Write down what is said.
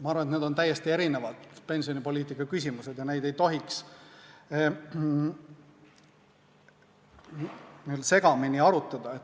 Ma arvan, et need on täiesti erinevad pensionipoliitika küsimused ja neid ei tohiks n-ö segamini arutada.